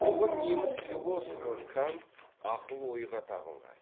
ұлы неміс философы кант ақыл ойға табынған